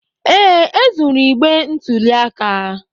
Ee, e zuru igbe ntụli aka.